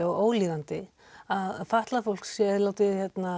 og óþolandi að fatlað fólk sé látið